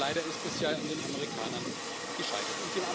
Leider ist es ja an den Amerikanern gescheitert.